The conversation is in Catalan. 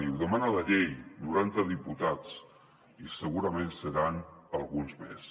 ho demana la llei noranta diputats i segurament seran alguns més